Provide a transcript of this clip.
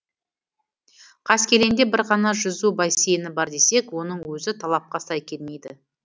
қаскелеңде бір ғана жүзу бассейні бар десек оның өзі талапқа сай келмейді